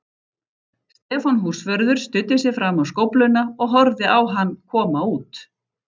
Stefán húsvörður studdi sig fram á skófluna og horfði á hann koma út.